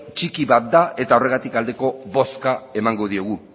txiki bat da eta horregatik aldeko bozka emango diogu